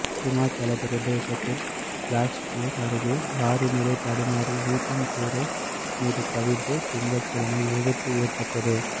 ஹிமாச்சலப் பிரதேசத்தின் பிலாஸ்பூர் அருகே லாரி நிலை தடுமாறி வீட்டின் கூரை மீது கவிழ்ந்து திங்கள்கிழமை விபத்து ஏற்பட்டது